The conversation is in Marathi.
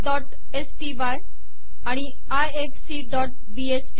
harvardस्टाय आणि ifacबीएसटी